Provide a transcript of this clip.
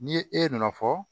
Ni e nana fɔ